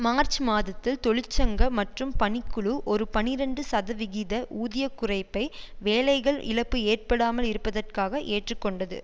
March மாதத்தில் தொழிற்சங்க மற்றும் பணிக்குழு ஒரு பனிரண்டு சதவிகித ஊதிய குறைப்பை வேலைகள் இழப்பு ஏற்படாமல் இருப்பதற்காக ஏற்று கொண்டது